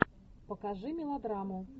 покажи мелодраму